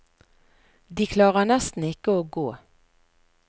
De klarer nesten ikke å gå.